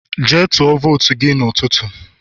jee tuo votu gi n'ututu